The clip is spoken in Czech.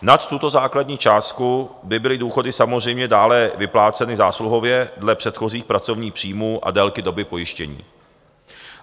Nad tuto základní částku by byly důchody samozřejmě dále vypláceny zásluhově dle předchozích pracovních příjmů a délky doby pojištění.